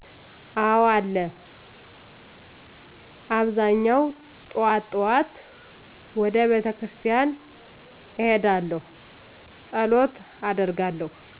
አዎ አለ አብዛኛው ጥዋት ጥዋት ወደ ቤተክርስቲያን እሄዳለሁ ፀሎት አደርጋለሁ።